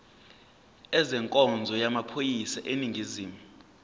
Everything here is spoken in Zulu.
ezenkonzo yamaphoyisa aseningizimu